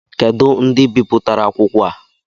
Kedu ndị bipụtara akwụkwọ a?